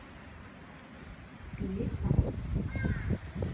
Glitvangi